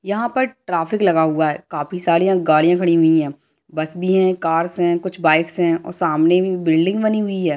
यहाँ पर ट्रैफिक लगा हुआ है | काफी सारी गाड़ियां खड़ी हुई है | बस भी है कार्स भी है कुछ बाइक्स भी है सामने एक बिल्डिंग भी बानी हुई है।